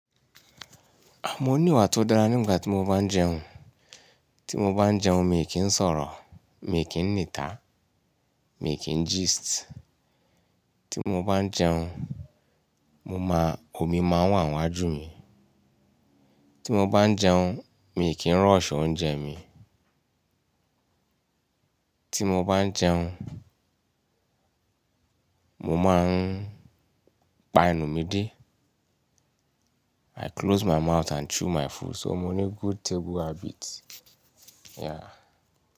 Mo ní ìwà tó dára ní ìgbà tí mo bá ń jẹun. Tí mo bá ń jẹun mi kì í sọ̀rọ̀, mi kì í nítà, mi kì í gist. Tí mo bá ń jẹun, mo máa- omi máa ń wà níwájú mi. Tí mo bá ń jẹun, mi kì í rush oúnjẹ mi. Tí mo bá ń jẹun, mo máa ń pa ẹnù mi dé. I close my mouth and chew my food. So mo ní good table habit. Yeah.